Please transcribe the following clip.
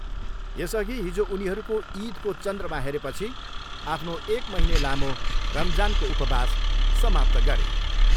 यसअघि हिजो उनीहरूको इदको चन्द्रमा हेरेपछि आफ्नो एक महिने लामो रमजानको उपवास समाप्त गरे।